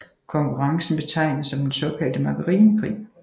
Konkurrencen betegnes som den såkaldte margarinekrig